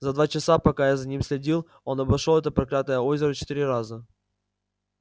за два часа пока я за ним следил он обошёл это проклятое озеро четыре раза